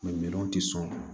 minɛnw tɛ sɔn